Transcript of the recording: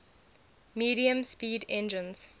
medium speed engines